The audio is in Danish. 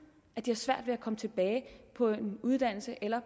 at de har svært ved at komme tilbage på en uddannelse eller